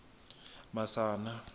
masana